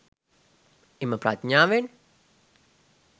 එම ප්‍රඥාවෙන්